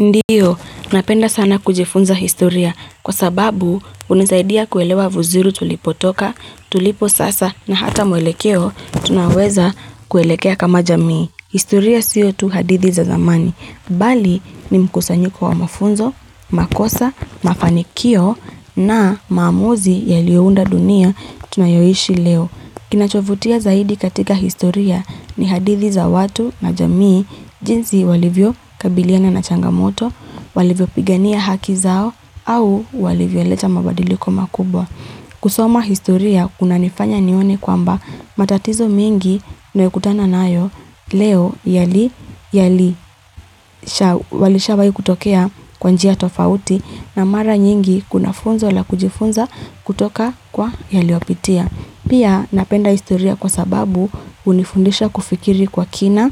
Ndio, napenda sana kujifunza historia kwa sababu hunisaidia kuelewa vizuri tulipotoka, tulipo sasa na hata mwelekeo tunaweza kuelekea kama jamii. Historia siyo tu hadithi za zamani, bali ni mkusanyiko wa mafunzo, makosa, mafanikio na maamuzi yaliyounda dunia tunayoishi leo. Kinachovutia zaidi katika historia ni hadithi za watu na jamii jinsi walivyo kabiliana na changamoto, walivyo pigania haki zao, au walivyo leta mabadiliko makubwa. Kusoma historia, kunanifanya nione kwamba matatizo mingi ninayokutana nayo leo yalishawahi kutokea kwa njia tofauti na mara nyingi kuna funzo la kujifunza kutoka kwa yaliyopitia. Pia napenda historia kwa sababu hunifundisha kufikiri kwa kina,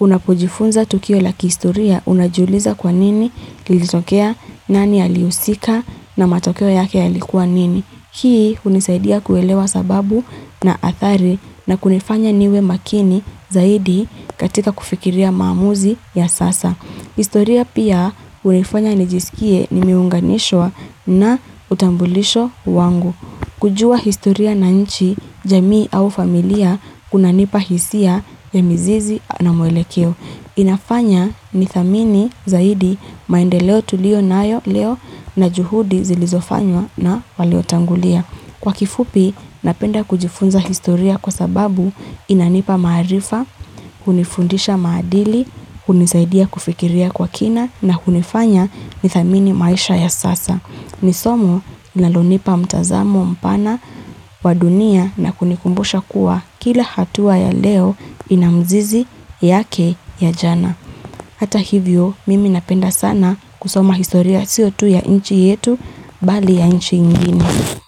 unapojifunza tukio lakihistoria, unajuliza kwa nini, kilitokea nani alihusika na matokeo yake yalikuwa nini? Hii hunisaidia kuelewa sababu na athari na kunifanya niwe makini zaidi katika kufikiria maamuzi ya sasa. Historia pia hunifanya nijisikie nimeunganishwa na utambulisho wangu. Kujua historia na nchi, jamii au familia, kunanipa hisia ya mizizi na mwelekeo. Inafanya nithamini zaidi maendeleo tulio nayo leo na juhudi zilizofanywa na waliotangulia. Kwa kifupi, napenda kujifunza historia kwa sababu inanipa maarifa, hunifundisha maadili, hunisaidia kufikiria kwa kina na hunifanya nithamini maisha ya sasa. Ni somo linalonipa mtazamo mpana wa dunia na kunikumbusha kuwa kila hatua ya leo ina mzizi yake ya jana. Hata hivyo mimi napenda sana kusoma historia siyo tu ya nchi yetu bali ya nchi ingine.